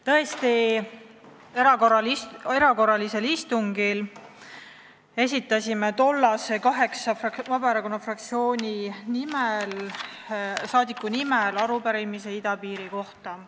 Tõesti, erakorralisel istungil esitasid tollased kaheksa Vabaerakonna fraktsiooni liiget arupärimise idapiiri kohta.